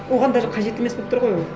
оған даже қажет емес болып тұр ғой ол